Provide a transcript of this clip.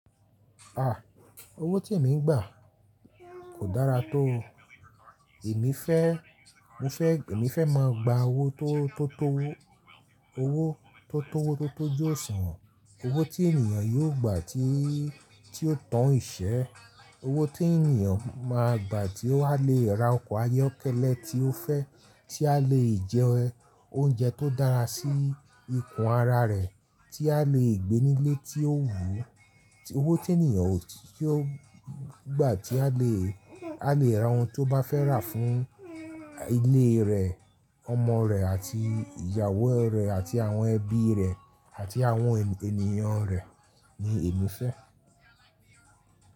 Ah! Owó tí èmi ń gbà kò dára tó. Èmi fẹ́, mo fẹ́, èmi fẹ́ máa gba owó tó, tó tó, owó tó tówótótó jù ọ̀sán. Owó tí ènìyàn yóò gbà tí, tí ó tàn í ṣẹ́. Owó tí ènìyàn máa gbà tí ó ha lè ra ọkọ̀ ayọ́kẹ́lẹ́ tí ó fẹ́, tí a lè jẹ oúnjẹ tó dára sí ikùn ara rẹ̀, tí a lè gbé nílé tí ó wùú. Owó tí ènìyàn tí ó gbà tí a lè, a lè ra ohun tí ó bá fẹ́ rà fún ilé rẹ̀, ọmọ rẹ̀ àti ìyàwó rẹ̀ àti àwọn ẹbí rẹ̀ àti àwọn ènìyàn rẹ̀ ni èmi fẹ́.